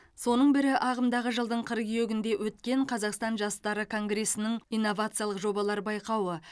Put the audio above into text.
соның бірі ағымдағы жылдың қыркүйегінде өткен қазақстан жастары конгресінің инновациялық жобалар байқауы